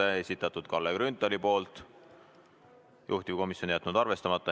Selle on esitanud Kalle Grünthal ja juhtivkomisjon on jätnud selle arvestamata.